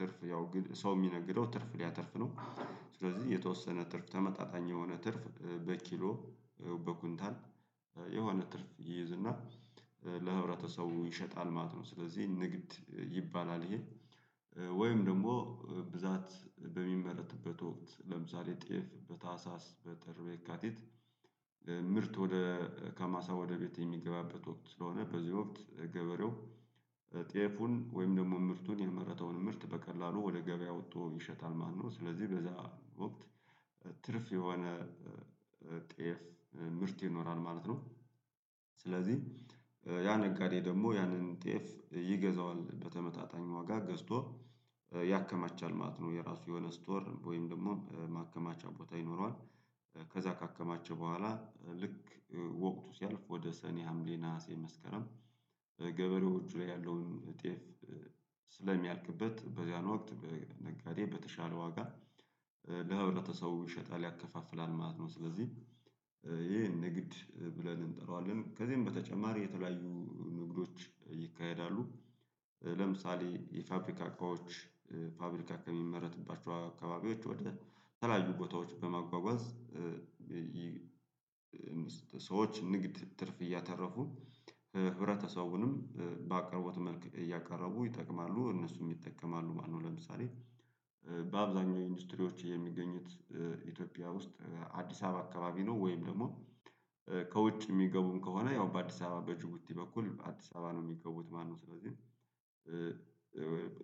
ትርፍ ያው ሰው የሚነግደው ትርፍ ሊያተርፍ ነው። ስለዚህ የተወሰነ ትርፍ ተመጣጣኝ የሆነ ትርፍ በኪሎ በኩንታል የሆነ ትርፍ ይይዝና ለህብረተሰቡ ይሸጣል ማለት ነው። ስለዚህ ንግድ ይባላል ይሄ ወይም ደግሞ ብዛት በሚመረትበት ወቅት ለምሳሌ ጤፍ በታህሳስ በጥር በየካቲት ምርት ወደ ከማሳ ወደ ቤት የሚገባበት ወቅት ስለሆነ በዚህ ወቅት ገበሬው ጤፉን ወይም ደግሞ ምርቱን የመረጠውን ምርት በቀላሉ ወደ ገበያ አውጥቶ ይሸጣል ማለት ነው። ስለዚህ በዚያ ወቅት ትርፍ የሆነ ጤፍ ምርት ይኖራል ማለት ነው። ስለዚህ ያ ነጋዴ ደግሞ ያንን ጤፍ ይገዛዋል በተመጣጣኝ ዋጋ ገዝቶ ያከማቻል ማለት ነው። የራሱ የሆነ ስቶር ወይም ደግሞ ማከማቻ ቦታ ይኖረዋል። ከዛ ካከማቸ በኋላ ልክ ወቅቱ ሲያልፍ ወደ ሰኔ ሀምሌ ነሀሴ መስከረም ገበሬዎቹ ላይ ያለውን ጤፍ ስለሚያልቅበት በዚያን ወቅት በነጋዴ በተሻለ ዋጋ ለህብረተሰቡ ይሸጣል ያከፋፍላል ማለት ነው። ስለዚህ ይሄን ንግድ ብለን እንጥረዋለን ከዚህም በተጨማሪ የተለያዩ ንግዶች ይካሄዳሉ። ለምሳሌ የፋብሪካ እቃዎች ፋብሪካ ከሚመረትባቸው አካባቢዎች ወደ ተላዩ ቦታዎች በማጓጓዝ ሰዎች ንግድ ትርፍ እያተረፉ ህብረተሰቡንም በአቅርቦት መልኩ እያቀረቡ ይጠቅማሉ እነሱም ይጠቀማሉ ማለት ነው። ለምሳሌ በአብዛኛው ኢንዱስትሪዎች የሚገኙት ኢትዮጵያ ውስጥ አዲስ አበባ አካባቢ ነው። ወይም ደግሞ ከውጭ ሚገቡም ከሆነ ያው በአዲስ አበባ በጅቡቲ በኩል አዲስ አበባ ነው የሚገቡት ማለት ነው። ስለዚህ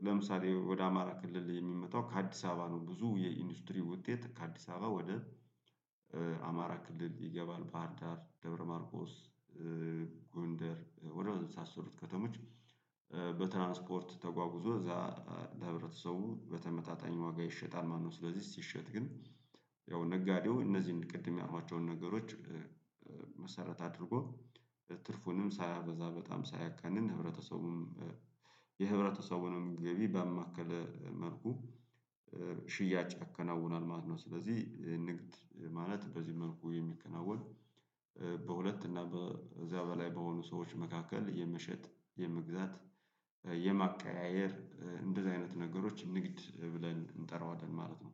ለምሳሌ ወደ አማራ ክልል የሚመጣው ከአዲስ አበባ ነው ብዙ የኢንዱስትሪ ውጤት ከአዲስ አበባ ወደ አማራ ክልል ይገባል ባህርዳር ደብረማርቆስ ጎንደር ወደ መሳሰሉት ከተሞች በትራንስፖርት ተጓጉዞ እዛ ለህብረተሰቡ በተመጣጠኝ ዋጋ ይሸጣል ማለት ነው። ስለዚህ ሲሸጥ ግን ያው ነጋዴው እነዚህን ቅድም ያልኳቸውን ነገሮች መሰረት አድርጎ ትርፉንም ሳያበዛ በጣም ሳያጋንን ህብረተሰቡም የህብረተሰቡንም ገቢ በአማከለ መልኩ ሽያጭ ያከናውናል ማለት ነው። ስለዚህ ንግድ ማለት በዚህ መልኩ የሚከናወን በሁለት እና እዚያ በላይ በሆኑ ሰዎች መካከል የመሸጥ የመግዛት የማቀያየር እንደዚህ አይነት ነገሮች ንግድ ብለን እንጠራዋለን ማለት ነው።